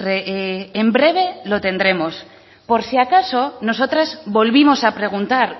en breve lo tendremos por si acaso nosotros volvimos a preguntar